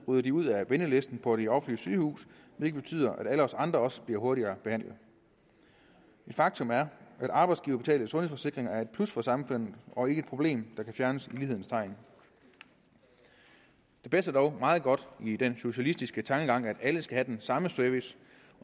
ryger de ud af ventelisten på det offentlige sygehus hvilket betyder at alle os andre også bliver hurtigere behandlet et faktum er at arbejdsgiverbetalte sundhedsforsikringer er et plus for samfundet og ikke et problem der kan fjernes i lighedens navn det passer dog meget godt ind i den socialistiske tankegang at alle skal have den samme service